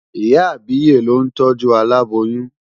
Ìyá àbíyè ló ń tọ́jú aláboyún.